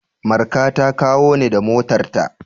Marka ta kawo ni da motarta.